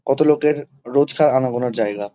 কত লোকের রোজকার আনাগোনার জায়গা।